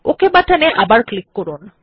okay বাটনে আবার click করুন